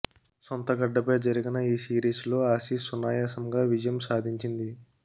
సొంత గడ్డపై జరిగిన ఈ సిరీస్లో ఆసీస్ సునాయసంగా విజయం సాధించింది